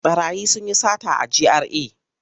Ɓarayi sun yi sata a GRA.